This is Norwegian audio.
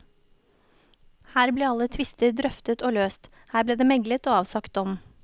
Her ble alle tvister drøftet og løst, her ble det meklet og avsagt dom.